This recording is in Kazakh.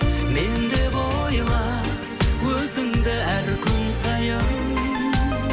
мен деп ойла өзіңді әр күн сайын